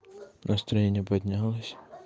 настроение поднялось